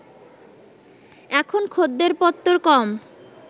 এখন খদ্দের-পত্তর কম